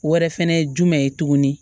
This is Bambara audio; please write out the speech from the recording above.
Wɛrɛ fɛnɛ ye jumɛn ye tuguni